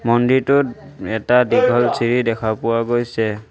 মন্দিৰটোত এটা দীঘল চিৰি দেখা পোৱা গৈছে।